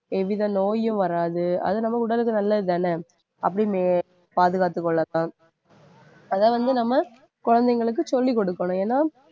எவ்வித நோயும் வராது அது நம்ம உடலுக்கு நல்லதுதானே? அப்படின்னு பாதுகாத்துக் கொள்ளத்தான் அதை வந்து நம்ம குழந்தைங்களுக்கு சொல்லிக் கொடுக்கணும் ஏன்னா